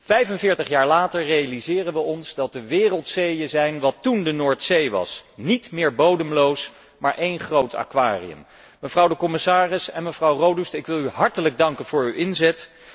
45 Jaar later realiseren wij ons dat de wereldzeeën zijn wat toen de Noordzee was, niet meer bodemloos, maar één groot aquarium. Mevrouw de commissaris en mevrouw Rodust, ik wil u hartelijk danken voor uw inzet.